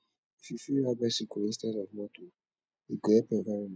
if you fit ride bicycle instead of motor e go help environment